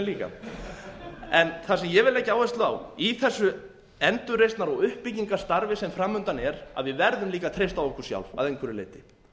líka en það sem ég vil leggja áherslu á í þessu endurreisnar og uppbyggingarstarfi sem framundan er að við verðum líka að treysta á okkur sjálf að einhverju leyti